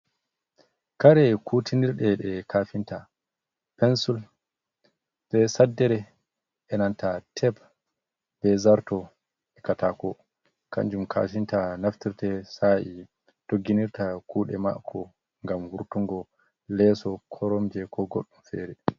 Kare kutinirteɗe ɗe kafinta, pensul be sddere, e nanta teb, be zarto, e katako kanjum kafinta naftirte sa’i dogginirta kuɗe mako, ngam wurtungo leso koromje ko godɗum fere.